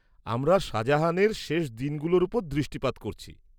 -আমরা শাহজাহানের শেষ দিনগুলোর ওপর দৃষ্টিপাত করছি।